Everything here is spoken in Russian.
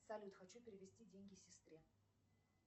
салют хочу перевести деньги сестре